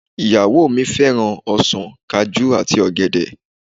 Ìyàwó mi fẹ́ràn ọsàn, Kajú àti ọ̀gẹ̀dẹ̀